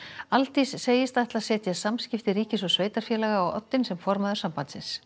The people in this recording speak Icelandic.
Aldís segist ætla að setja samskipti ríkis og sveitarfélaga á oddinn sem formaður sambandsins